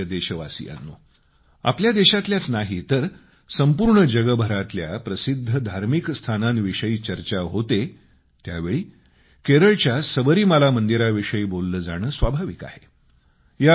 माझ्या प्रिय देशवासियांनो आपल्या देशातल्याच नाही तर संपूर्ण जगभरातल्या प्रसिद्ध धार्मिक स्थानांविषयी चर्चा होते त्यावेळी केरळच्या सबरीमाला मंदिराविषयी बोललं जाणं स्वाभाविक आहे